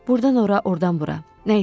Burdan ora, ordan bura, nə isə.